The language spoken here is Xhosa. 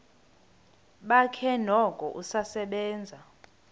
bakhe noko usasebenza